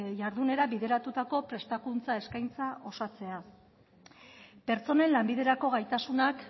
jardunera bideratutako prestakuntza eskaintza osatzea pertsonen lanbiderako gaitasunak